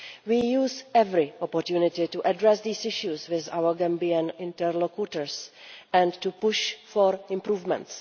We use every opportunity to address these issues with our Gambian interlocutors and to push for improvements.